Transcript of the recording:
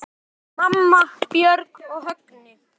Mamma, Björk og Högni.